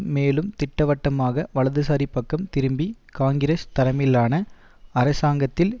மேலும் திட்டவட்டமாக வலுதுசாரி பக்கம் திரும்பி காங்கிரஸ் தலைமையிலான அரசாங்கத்தில்